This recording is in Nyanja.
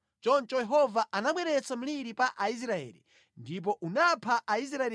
Choncho Yehova anabweretsa mliri pa Aisraeli, ndipo unapha Aisraeli 70,000.